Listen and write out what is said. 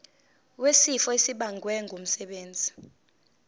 wesifo esibagwe ngumsebenzi